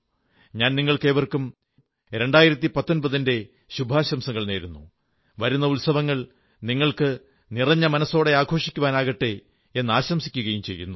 ഞാൻ നിങ്ങൾക്കേവർക്കും 2019 ന്റെ ശുഭാശംസകൾ നേരുന്നു വരുന്ന ഉത്സവങ്ങൾ നിങ്ങൾക്ക് നിറഞ്ഞ മനസ്സോടെ ആഘോഷിക്കുവാനാകട്ടെ എന്ന് ആശംസിക്കുകയും ചെയ്യുന്നു